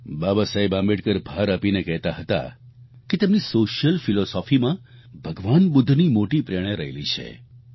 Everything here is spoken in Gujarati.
બાબા સાહેબ આંબેડકર ભાર આપીને કહેતા હતા કે તેમની સોશિયલ ફિલોસોફી માં ભગવાના બુદ્ધની મોટી પ્રેરણા રહેલી છે